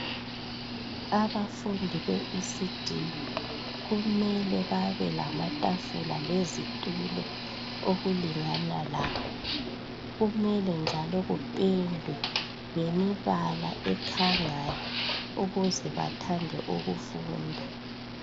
Abafundi be"ECD"kumele babe lamatafula lezitulo okulingana labo kumele njalo kupendwe ngeminala ekhangayo ukuze bathande ukufunda.